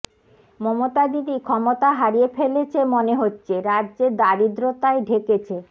মমতাদিদি ক্ষমতা হারিয়ে ফেলেছে মনে হচ্ছে রাজ্যে দারিদ্রতায় ঢেকেছে